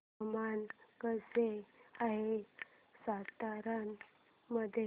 हवामान कसे आहे सातारा मध्ये